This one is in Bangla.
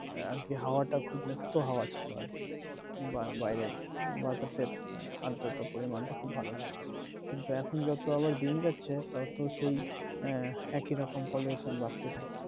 আর কি হওয়াটা খুব মুক্ত হাওয়া ছিল আর কি বা বাইরে বাতাসের আদ্রতা পরিমানটা খুব ভালো ছিল কিন্তু এখন যত আবার দিন যাচ্ছে তত সেই একইরকম pollution বাড়তে থাকছে